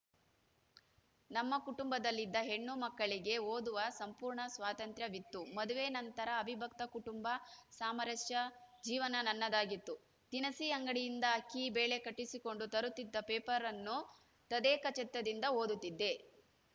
ನಮ್ಮ ಕುಟುಂಬದಲ್ಲಿ ಇದ್ದ ಹೆಣ್ಣು ಮಕ್ಕಳಿಗೆ ಓದುವ ಸಂಪೂರ್ಣ ಸ್ವಾತಂತ್ರ್ಯವಿತ್ತು ಮದುವೆ ನಂತರ ಅವಿಭಕ್ತ ಕುಟುಂಬ ಸಾಮರಸ್ಯ ಜೀವನ ನನ್ನದಾಗಿತ್ತು ದಿನಸಿ ಅಂಗಡಿಯಿಂದ ಅಕ್ಕಿ ಬೇಳೆ ಕಟ್ಟಿಸಿಕೊಂಡು ತರುತ್ತಿದ್ದ ಪೇಪರ್‌ ಅನ್ನು ತದೇಕಚಿತ್ತದಿಂದ ಓದುತ್ತಿದ್ದೆ